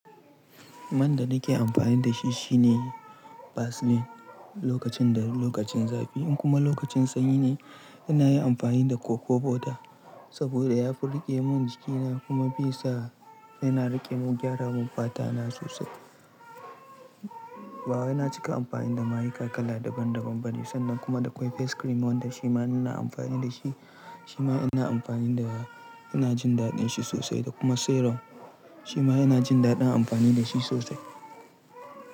Man da nake amfani da shi shine Vaseline lokacin da lokacin zafi. In kuma lokacin sanyi ne, ina yin amfani da cocoa butter saboda ya fi riƙe mun jikina kuma bai sa yana rike mu gyara mun fata na sosai. Bawai na cika amfani da mayika kala daban daban bane sannan kuma da akwai face cream wanda shi ma ina amfani da shi. Shi ma ina amfani da yana jin daɗin shi sosai da kuma serum. Shi ma yana jin daɗin amfani da shi sosai.